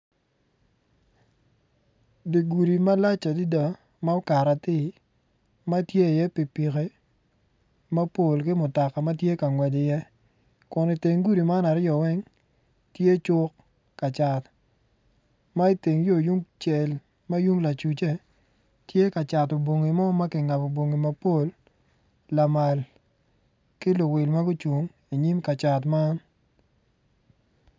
Dye gudi malac adada ma okato atir matye i ye pipiki mapol kimutoka matye ka ngwec i ye kun i teng gudi man aryo weng tye cuk kacat ma i teng yo yung cel mayung lacucce tye kacato vongi mogo makingabo bongi mapol lamal ki luwil magucung i nyim kacat man.